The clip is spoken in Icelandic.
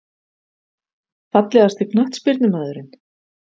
Fallegasti knattspyrnumaðurinn?